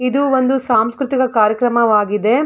ಇದು ಒಂದು ಸಾಂಸ್ಕ್ರತಿಕ ಕಾರ್ಯಕ್ರಮವಾಗಿದೆ.